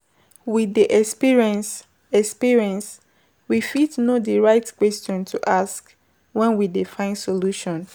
With the experience experience we fit know di right questions to ask when we dey find solution